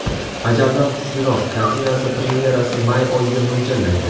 Ajaldan kuchliroq” kartinasi premyerasi may oyiga mo‘ljallangan.